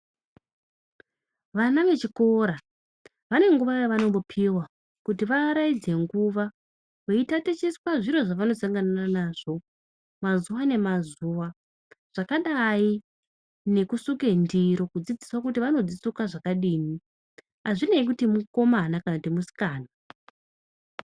Vana vechikora vane nguva yevanombopiwa kuti vaaraidze nguva veitatichiswa zviro zvevanosangana nazvo mazuwa nemazuwa , zvakadai nekusuke ndiro kudzidziswa kuti vanodzisuke zvakadini azvinei kuti mukomana kana kuti musikana.